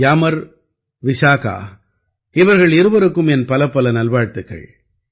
கியாமர் விசாகா இவர்கள் இருவருக்கும் என் பலப்பல நல்வாழ்த்துக்கள்